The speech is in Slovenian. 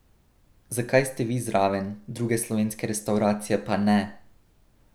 Zakaj ste vi zraven, druge slovenske restavracije pa ne?